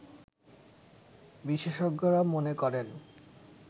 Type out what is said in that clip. বিশেষজ্ঞরা মনে করেন